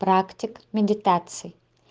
практика медитации